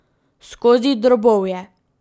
Skozi drobovje.